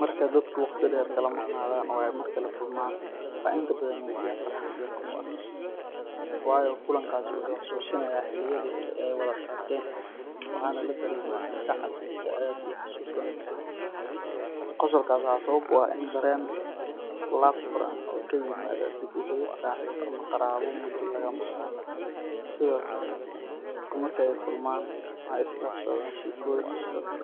Marka dadku waqti dheer kala maqnaadaan oo ay mar kale kulmaan, waxay inta badan muujiyaan farxad iyo qosol, waayo kulankaasi wuxuu xusuusinayaa xilliyadii hore ee ay wada qaateen, waxaana la dareemaa kalgacal, jacayl iyo xusuus wanaagsan. Qosolkaas waxaa sabab u ah dareen laab furan oo ka yimaada dib u helid saaxiib ama qaraabo muddo laga maqnaa. Sidoo kale, dadku marka ay kulmaan waxay isdhaafsadaan sheekooyin xiiso leh,